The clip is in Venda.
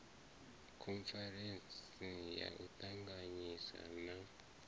khoniferentsi ya u ṱanganyisa na